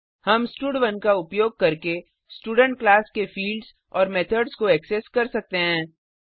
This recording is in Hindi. हम स्टड1 का उपयोग करके स्टूडेंट क्लास के फिल्ड्स और मेथड्स को ऐक्सेस कर सकते हैं